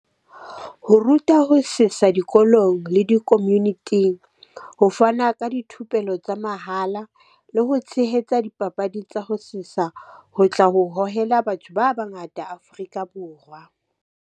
Ho ruta ho sesa dikolong le di community-ing, ho fana ka dithupelo tsa mahala le ho tshehetsa dipapadi tsa ho sesa, ho tla ho hohela batho ba bangata Afrika Borwa.